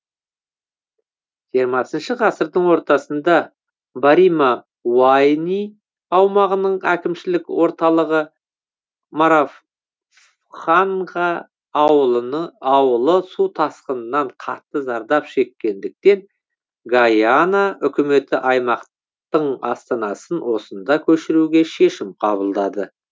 жиырмасыншы ғасырдың ортасында барима уайни аумағының әкімшілік орталығы моравханха ауылы су тасқынынан қатты зардап шеккендіктен гайана үкіметі аймақтың астанасын осында көшіруге шешім қабылдады